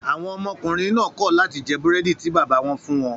Àwọn ọmọkùnrin náà kọ̀ láti jẹ́ búrẹ́dì tí bàbá wọn fún wọn.